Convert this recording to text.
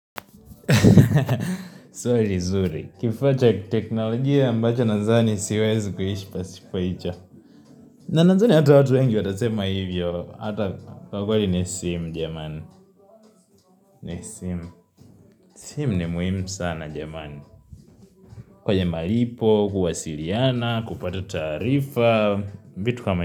Zuri zuri Kifacha teknolojia ambacho nazani siwezi kuhishi pasipaicha na nadhani hata watu wengi watasema hivyo Hata kwa kweli ni simu jamani simu ni muhimu sana jamani kwenye malipo, kuwasiliana, kupata taarifa vitu kama.